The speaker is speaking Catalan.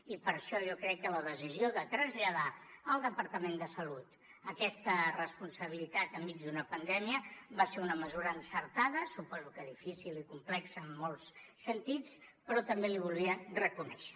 i per això jo crec que la decisió de traslladar al departament de salut aquesta responsabilitat enmig d’una pandèmia va ser una mesura encertada suposo que difícil i complexa en molts sentits però també l’hi volia reconèixer